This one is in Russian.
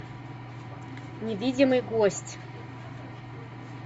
невидимый гость